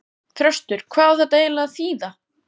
Þröstur, hvað á þetta eiginlega að þýða?!